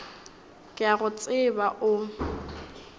ke a go tseba o